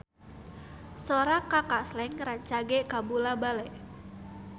Sora Kaka Slank rancage kabula-bale